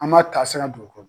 An b'a taasira d'u kɔrɔ.